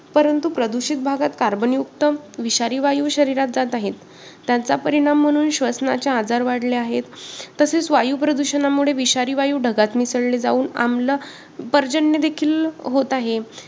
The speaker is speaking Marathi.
की मला हे पुस्तक देऊ नका असं पुस्तकाचं म्हणणं आहे. माझ्या हाती ते देताना तुम्हाला